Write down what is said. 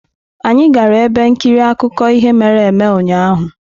Anyị gara ebe nkiri akụkọ ihe mere eme ụnyahụ.